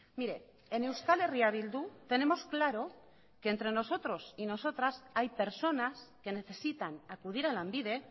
mire en euskal herria bildu tenemos claro que entre nosotros y nosotras hay personas que necesitan acudir a lanbide